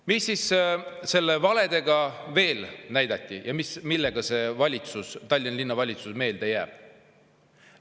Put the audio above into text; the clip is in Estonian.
Mida siis valedega veel näidati ja millega see Tallinna Linnavalitsus meelde jääb?